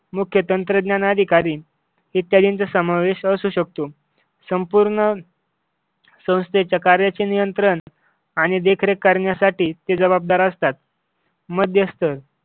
मुख्य तंत्रज्ञान अधिकारी इत्यादींचा समावेश असू शकतो. संपूर्ण संस्थेच्या कार्यांचे नियंत्रण आणि देखरेख करण्यासाठी ते जबाबदार असतात. मध्यस्तर